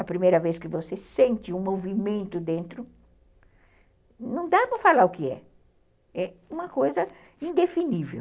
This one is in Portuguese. A primeira vez que você sente um movimento dentro, não dá para falar o que é. É uma coisa indefinível.